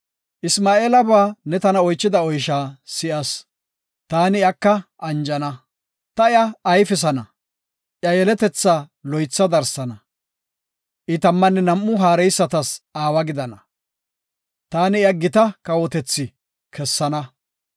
Isma7eelaba ne tana oychida oysha si7as. Taani iyaka anjana. Ta iya ayfisana, iya yeletetha loytha darsana. I tammanne nam7u haareysatas aawa gidana. Taani iya gita kawotethi kessana.